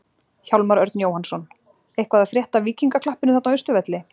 Hjálmar Örn Jóhannsson: Eitthvað að frétta af Víkingaklappinu þarna á Austurvelli?